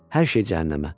Hər şey cəhənnəmə.